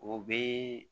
O bɛ